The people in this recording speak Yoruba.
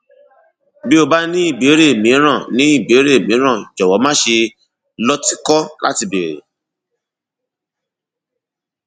bí o bá ní ìbéèrè mìíràn ní ìbéèrè mìíràn jọwọ máṣe lọtìkọ láti béèrè